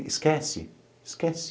Esquece, esquece.